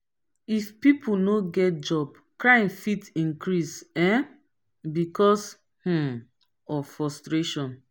if pipo no get job crime fit increase um because um of frustration